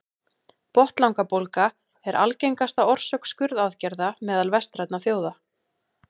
botnlangabólga er algengasta orsök skurðaðgerða meðal vestrænna þjóða